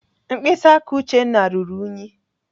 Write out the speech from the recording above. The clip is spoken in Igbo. Mkpịsị aka Uchenna ruru ùnyí.